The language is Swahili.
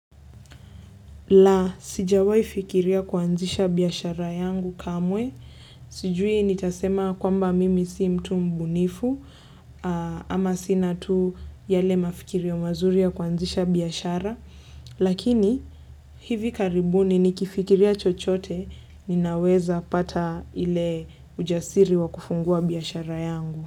La, sijawai fikiria kuanzisha biashara yangu kamwe. Sijui ni tasema kwamba mimi si mtu mbunifu ama sina tu yale mafikirio mazuria ya kuanzisha biashara. Lakini hivi karibuni ni kifikiria chochote ninaweza pata ile ujasiri wa kufungua biashara yangu.